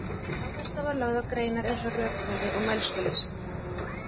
Áhersla var lögð á greinar eins og rökfræði og mælskulist.